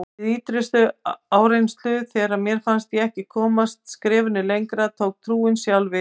Við ýtrustu áreynslu, þegar mér fannst ég ekki komast skrefinu lengra, tók trúin sjálf við.